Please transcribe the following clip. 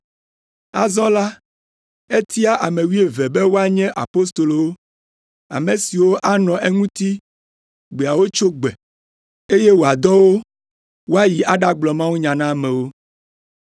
Azɔ la, etia ame wuieve be woanye apostolowo, ame siwo anɔ eŋuti gbeawo tsyo gbe, eye wòadɔ wo woayi aɖagblɔ mawunya na amewo,